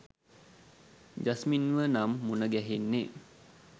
ජස්මින්ව නම් මුණ ගැහෙන්නේ